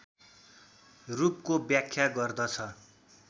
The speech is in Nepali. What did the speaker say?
रूपको व्याख्या गर्दछ